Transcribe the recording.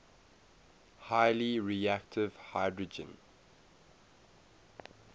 highly reactive hydrogen